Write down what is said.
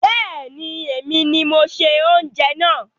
Bẹ́ẹ̀ni, èmi ni mo ṣe oúnjẹ náà